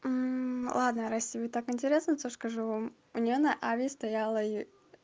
ладно раз тебе так интересно то скажу вам у неё на аве стояла